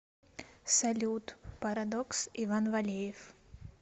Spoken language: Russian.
салют парадокс иван валеев